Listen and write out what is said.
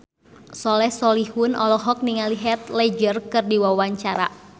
Soleh Solihun olohok ningali Heath Ledger keur diwawancara